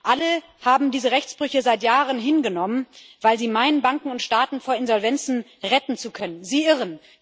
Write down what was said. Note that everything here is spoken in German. Alle haben diese Rechtsbrüche seit Jahren hingenommen, weil sie meinen, Banken und Staaten vor Insolvenzen retten zu können sie irren.